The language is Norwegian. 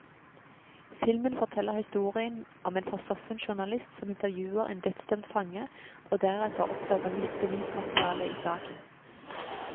Filmen forteller historien om en forsoffen journalist som intervjuer en dødsdømt fange, og deretter oppdager nytt bevismateriale i saken.